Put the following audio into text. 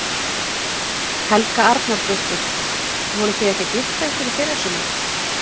Helga Arnardóttir: Voruð þið ekki að gifta ykkur í fyrrasumar?